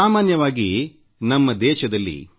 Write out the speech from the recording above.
ಸಾಮಾನ್ಯವಾಗಿ ನಮ್ಮ ದೇಶದಲ್ಲಿ ವಿ